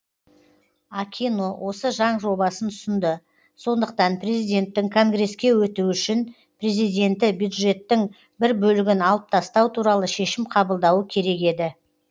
акино осы заң жобасын ұсынды сондықтан президенттің конгреске өтуі үшін президенті бюджеттің бір бөлігін алып тастау туралы шешім қабылдауы керек еді